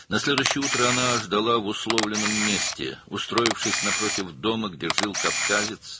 Növbəti səhər o, şərti yerdə, Qafqazlının yaşadığı evin qarşısında yerləşərək gözləyirdi,